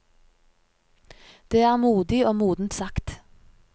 Det er modig og modent sagt.